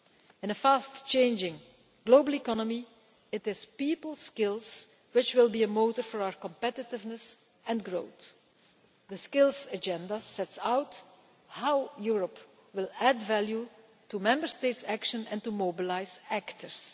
In a fast changing global economy, it is people's skills which will be a motor for our competitiveness and growth. The Skills Agenda sets out how Europe will add value to Member States' action and to mobilise actors.